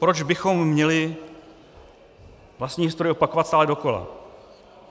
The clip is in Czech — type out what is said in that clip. Proč bychom měli vlastní historii opakovat stále dokola?